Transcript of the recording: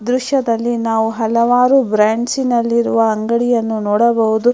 ಈ ದೃಶ್ಯದಲ್ಲಿ ನಾವು ಹಲವಾರು ಬ್ರ್ಯಾಂಚ್ನಲ್ಲಿ ರುವ ಅಂಗಡಿಯನ್ನು ನೋಡಬಹುದು.